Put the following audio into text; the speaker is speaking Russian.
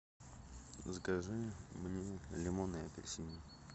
закажи мне лимоны и апельсины